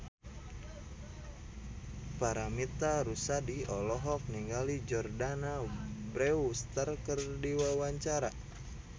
Paramitha Rusady olohok ningali Jordana Brewster keur diwawancara